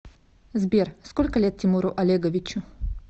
сбер сколько лет тимуру олеговичу